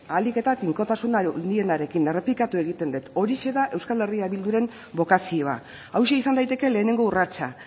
ahalik eta tinkotasun handienarekin errepikatuko egiten dut horixe da euskal herria bilduren bokazioa hauxe izan daiteke lehenengo urratsa